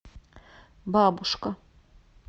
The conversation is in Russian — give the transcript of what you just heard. бабушка